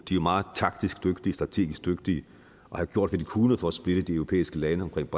er meget taktisk dygtige strategisk dygtige og har gjort hvad de kunne for at splitte de europæiske lande omkring